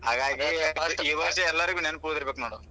ಹಾಗಾಗಿ ಈ ವಷ೯ ಎಲ್ಲಾರಿಗು ನೆನಪುಳಿದಿರಬೇಕ ನೋಡು.